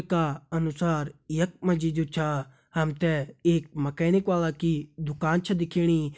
का अनुसार यख माजी जो छा हमते एक मिकैनिक ह्वाला की दुकान छ दिख्येणी।